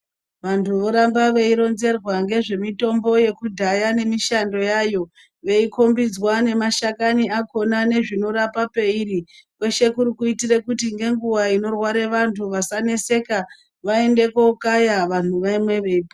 Vantu voramba vei ronzerwa nezvemitombo yeku dhaya nemishando yayo vei kombidzwa nema shakani akona ndzvino rapa peiri kuri kuitire kuti nenguwa inorwara antu asaneseka vaende kokaya vantu vamwe vega.